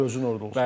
Gözün orda olsun.